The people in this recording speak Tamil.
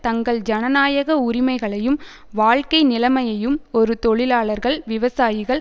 தங்கள் ஜனநாயக உரிமைகளையும் வாழ்க்கை நிலைமையையும் ஒரு தொழிலாளர்கள் விவசாயிகள்